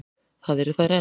Það eru þær enn.